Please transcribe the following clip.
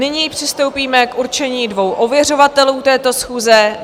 Nyní přistoupíme k určení dvou ověřovatelů této schůze.